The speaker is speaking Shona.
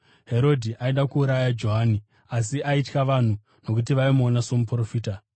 Herodhi aida kuuraya Johani asi aitya vanhu nokuti vaimuona somuprofita.